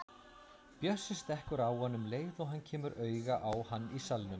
Bjössi stekkur á hann um leið og hann kemur auga á hann í salnum.